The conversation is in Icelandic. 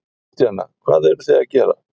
Kristjana: Hvað eruð þið að gera?